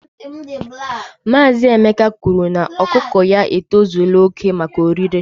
Maazị Emeka kwuru na ọkụkọ ya e tozula oke maka orire